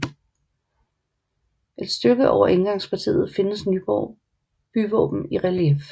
Et stykke over indgangspartiet findes Nyborg byvåben i relief